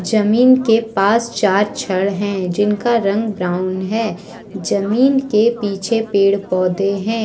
जमीन के पास चार छड़ हैं जिनका रंग ब्राउन है। जमीन के पीछे पेड़- पौधे हैं।